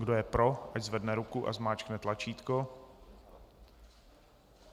Kdo je pro, ať zvedne ruku a zmáčkne tlačítko.